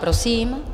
Prosím.